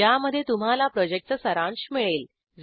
ज्यामध्ये तुम्हाला प्रॉजेक्टचा सारांश मिळेल